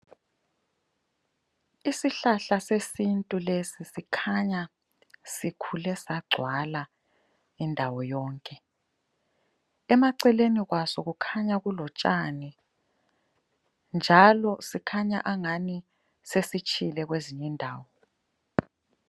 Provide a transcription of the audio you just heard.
Isihlahla sesintu lesi sikhanya sikhule sagcwala indawo yonke. Emaceleni kwaso kukhanya kulotshani njalo sikhanya angani sesitshile kwezinye indawo.